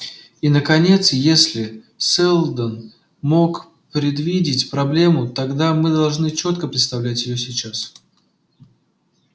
и наконец если сэлдон мог предвидеть проблему тогда мы должны чётко представлять её сейчас